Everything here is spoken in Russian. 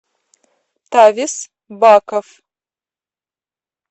тавес баков